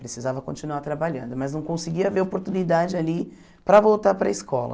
Precisava continuar trabalhando, mas não conseguia ver oportunidade ali para voltar para a escola.